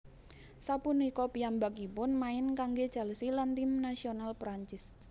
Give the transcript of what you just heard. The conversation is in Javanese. Sapunika piyambakipun main kanggé Chelsea lan tim nasional Perancis